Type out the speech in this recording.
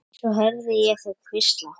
Svo heyrði ég þau hvísla.